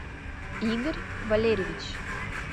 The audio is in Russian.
игорь валерьевич